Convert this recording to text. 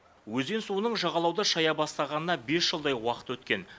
өзен суының жағалауды шая бастағанына бес жылдай уақыт өткен